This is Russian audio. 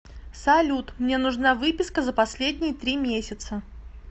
салют мне нужна выписка за последние три месяца